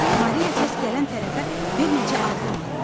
Maria səs gələn tərəfə bir neçə addım atdı.